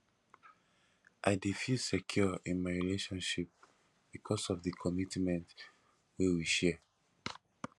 i dey feel secure in my relationship because of di commitment wey we share